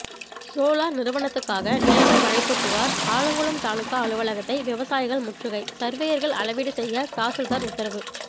solar நிறுவனத்துக்காக நிலங்கள் வளைப்பு புகார் ஆலங்குளம் தாலுகா அலுவலகத்தை விவசாயிகள் முற்றுகை சர்வேயர்கள் அளவீடு செய்ய தாசில்தார் உத்தரவு